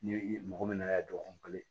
Ni i mɔgɔ min nana dɔɔnin